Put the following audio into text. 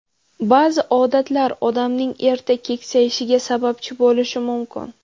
Ba’zi odatlar odamning erta keksayishiga sababchi bo‘lishi mumkin.